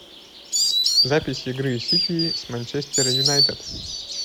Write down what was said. запись игры сити с манчестер юнайтед